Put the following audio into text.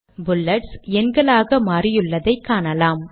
bullets எண்களாக மாறியுள்ளதை காணலாம்